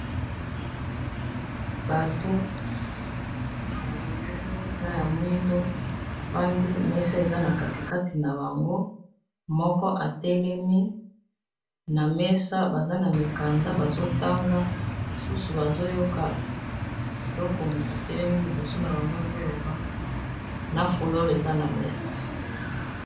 Bato ya midele na ya mwindo, bafandi mesa eza na katikati na bango moko atelemi na mesa baza na mikanda bazotanga lisusu bazoyoka biloko moto atelemi liboso na bango azoloba na fulole eza na mesa.